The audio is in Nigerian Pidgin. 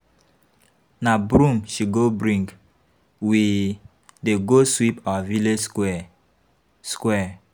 Na broom she go bring, we dey go sweep our village square. square.